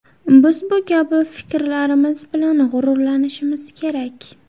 Biz bu kabi hamfikrlarimiz bilan g‘ururlanishimiz kerak.